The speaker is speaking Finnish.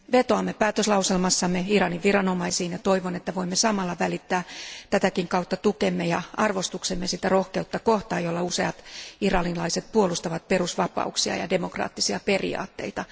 Vetoamme päätöslauselmassamme Iranin viranomaisiin, ja toivon, että voimme samalla välittää tätäkin kautta tukemme ja arvostuksemme sitä rohkeutta kohtaan, jolla useat iranilaiset puolustavat perusvapauksia ja demokraattisia periaatteita.